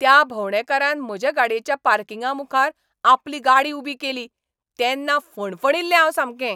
त्या भोंवडेकारान म्हजे गाडयेच्या पार्किंगामुखार आपली गाडी उबी केली तेन्ना फणफणिल्लें हांव सामकें.